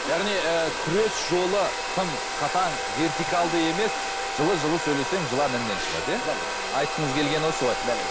яғни ыыы күрес жолы тым қатаң вертикалды емес жылы жылы сөйлесең жылан інінен шығады иә дәл өзі айтқыңыз келгені осы ғой дәл өзі